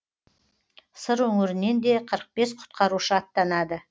сыр өңірінен де қырық бес құтқарушы аттанады